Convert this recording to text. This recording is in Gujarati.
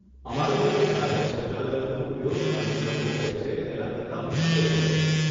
અમારે માટે જાહેર શૌચાલયોનો ઉપયોગ અન્ય લોકો કરે છે તેના કરતા મુશ્કેલ હોય છે.